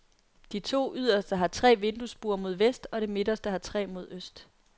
De to yderste har tre vinduesbuer mod vest og det midterste har tre mod øst.